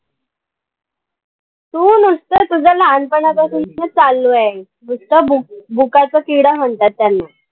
तू, नुसतं तुझं लहानपणापासून चालूये. नुसतं books book चा किडा म्हणतात त्यांना.